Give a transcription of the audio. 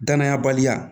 Danaya baliya